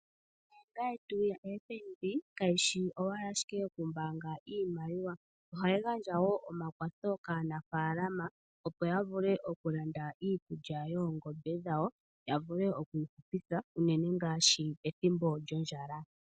Ombaanga yetu yaFNB kayishi owala yokumbaanga iimaliwa ohayi gandja wo omakwatho kaanafaalama opo ya vule okulanda iikulya yoongombe dhawo ya vule okuyihupitha unene ngaashi pethimbo lyondjala.